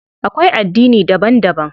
Akwai addini daban daban.